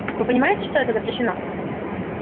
вы понимаете что это запрещено